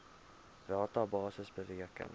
rata basis bereken